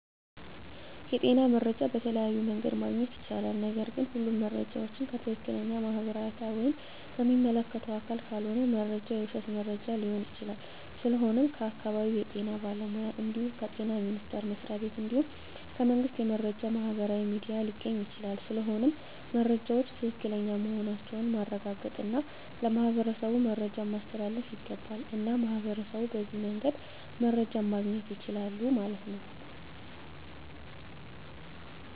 የጤና መረጃ በተለያዮ መንገድ ማግኘት ይቻላል ነገርግ ሁሉም መረጃ ዎችን ከትክለኛ ማህበራዊ አውታር ወይም ከሚመለከተው አካል ካልሆነ መረጃው የውሽት መረጃ ሊሆን ይችላል ስለሆነም ከአካባቢው የጤና ባለሙያ እንድሁም ከጤና ሚኒስተር መስሪያ ቤት እንድሁም ከመንግስት የመረጃ ማህበራዊ ሚዲያ ሊገኝ ይቻላል ስለሆነም መረጃወች ትክክለኛ መሆናቸውን ማረጋገጥ እና ለማህበረሠቡ መረጃን ማስተላለፍ ይገባል። እና ሚህበረሸቡ በዚህ መንገድ መረጃ ማገኘት ይችላሉ ማለት ነው